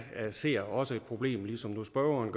ser også et problem ligesom spørgeren